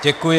Děkuji.